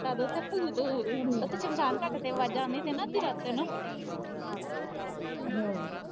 ਜਦ ਉਥੇ ਭੂਤ ਉਥੇ ਸ਼ਮਸ਼ਾਨ ਘਾਟ ਤੇ ਅਵਾਜਾਂ ਆਉਂਦੀਆਂ ਤੀਆਂ ਨਾ ਅੱਧੀ ਰਾਤੇ ਨੂੰ